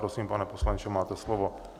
Prosím, pane poslanče, máte slovo.